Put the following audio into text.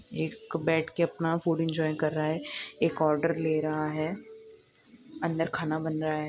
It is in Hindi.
एक बेढ के अपना फ़ूड जॉइन्ट कर रहा है एक ऑर्डर ले रहा है अंदर खाना बन रहा है।